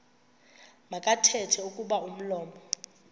makathethe kuba umlomo